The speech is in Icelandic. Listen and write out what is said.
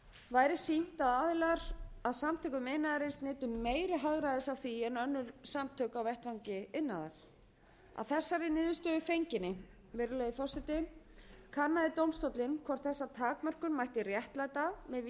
væri sýnt að aðilar að samtökum iðnaðarins nytu meira hagræðis af því en önnur samtök á vettvangi iðnaðar að þessari niðurstöðu fenginni virðulegi forseti kannaði dómstóllinn hvort þessa takmörkun mætti réttlæta með vísan til